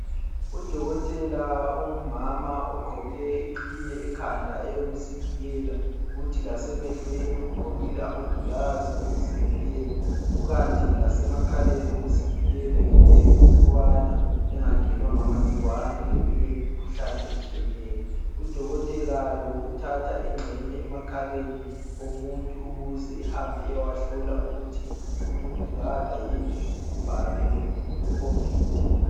Udokotela ongumama ogqoke iqhiye ekhanda eyokuzivikela, kuthi lasemehlweni ugqokile amagilazi okuzivikela kukanti lasemakhaleni uzivikele ngelembu ukubana engangenwa ngamagcikwane leminye imikhuhlane etshiyeneyo. Udokotela lo uthatha ingxenye emakhaleni omuntu ukuze ehambe eyewahlola ukuthi umuntu kala yini ubhubhane lweCovid.